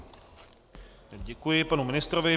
Děkuji panu ministrovi.